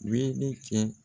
Weele kɛ